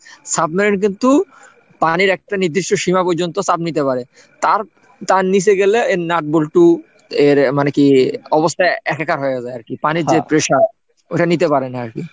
Submarine কিন্তু পানির একটা নির্দিষ্ট সীমা পর্যন্ত চাপ নিতে পারে তার তার নিচে গেলে এর nut bolt এর মানে কি অবস্থায় একাকার হয়ে যায় আর কি পানির যে pressure ওটা নিতে পারে না আর কি।